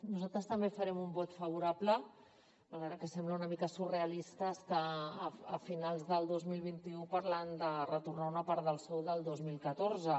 nosaltres també farem un vot favorable malgrat que sembla una mica surrealista estar a finals del dos mil vint u parlant de retornar una part del sou del dos mil catorze